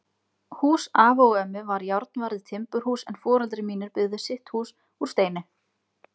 Hús afa og ömmu var járnvarið timburhús en foreldrar mínir byggðu sitt hús úr steini.